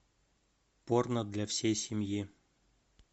порно для всей семьи